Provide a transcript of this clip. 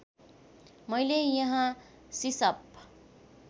मैले यहाँ सिसअप